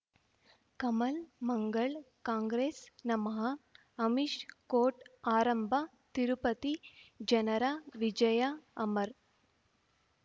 Kamal Mangal Congress ನಮಃ Amish court ಆರಂಭ ತಿರುಪತಿ ಜನರ ವಿಜಯ ಅಮರ್